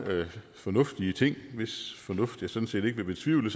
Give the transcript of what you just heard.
fornuftige ting hvis fornuft jeg sådan set ikke vil betvivle